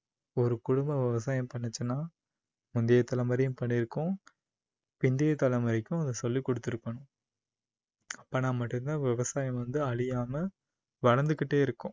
ஒரு குடும்பம் விவசாயம் பண்ணுச்சுன்னா முந்தைய தலைமுறையும் பண்ணிருக்கும் பிந்தைய தலைமுறைக்கும் அதை சொல்லிக்கொடுத்துருக்கும். அப்போன்னா மட்டும் தான் விவசாயம் வந்து அழியாம வளர்ந்துக்கிட்டே இருக்கும்